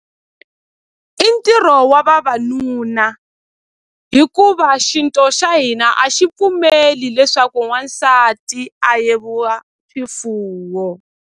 I ntirho wa vavanuna hikuva xinto xa hina a xi pfumeli leswaku n'wansati a swifuwo.